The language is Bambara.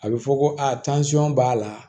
A bɛ fɔ ko aa b'a la